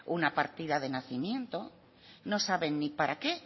una partida de nacimiento no saben ni para qué